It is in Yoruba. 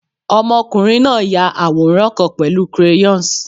Ọmọkunrin na ya aworan kan pẹlu crayons